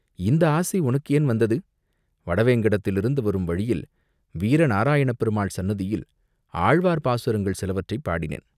"இந்த ஆசை உனக்கு ஏன் வந்தது?" "வடவேங்கடத்திலிருந்து வரும் வழியில் வீர நாராயணப் பெருமாள் சந்நிதியில் ஆழ்வார் பாசுரங்கள் சிலவற்றைப் பாடினேன்.